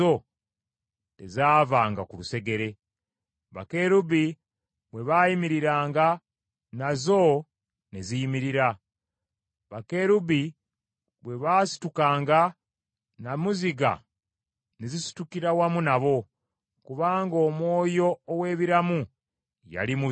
Bakerubi bwe baayimiriranga, nazo ne ziyimirira; bakerubi bwe baasitukanga, nnamuziga ne zisitukira wamu nabo, kubanga omwoyo ow’ebiramu yali mu zo.